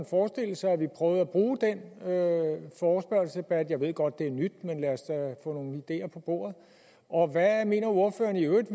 forestille sig at vi prøvede at bruge den forespørgselsdebat jeg ved godt det er nyt men lad os da få nogle ideer på bordet og hvad mener ordføreren i øvrigt